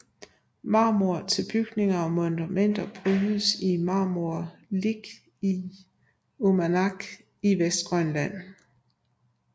Marmor til bygninger og monumenter brydes i Marmorilik i Umanak i Vestgrønland